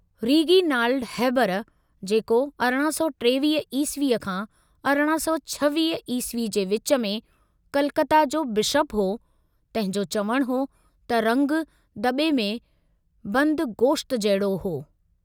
Reginald Heber, जेको 1823 ईस्वी खां 1826 ईस्वी जे विच में कलकता जो बिशप हो, तंहिं जो चवणु हो त रंगु दॿे में बंदि गोश्त जहिड़ो हो।